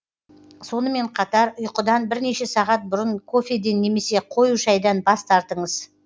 сонымен қатар ұйқыдан бірнеше сағат бұрын кофеден немесе қою шайдан бас тартыңыз